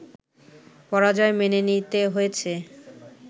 পরাজয় মেনে নিতে হয়েছে